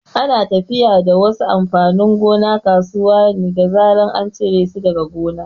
Ana tafiya da wasu amfanin gona kasuwa ne da zaran an ciro su daga gona.